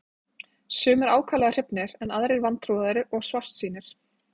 Sumir ákaflega hrifnir en aðrir vantrúaðir og svartsýnir.